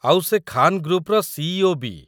ଆଉ ସେ ଖାନ୍ ଗ୍ରୁପ୍‌ର ସି.ଇ.ଓ. ବି ।